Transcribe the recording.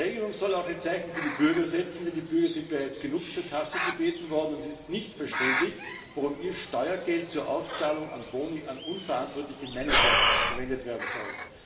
Die Regelung soll auch ein Zeichen für die Bürger setzen, denn die Bürger sind bereits genug zur Kasse gebeten worden, und es ist nicht verständlich, warum ihr Steuergeld zur Auszahlung von Boni an unverantwortliche Manager verwendet werden soll.